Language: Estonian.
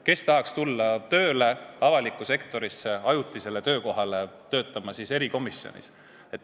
Kes tahaks tulla tööle avalikku sektorisse ajutisele töökohale erikomisjonis?